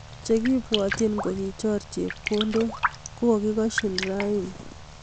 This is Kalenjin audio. Chekipwotchin kokichor chepkondok kokakikoschin rani